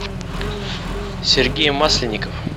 сергей масленников